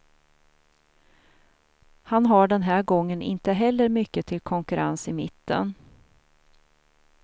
Han har den här gången inte heller mycket till konkurrens i mitten.